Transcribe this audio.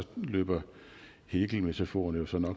løber hegelmetaforen jo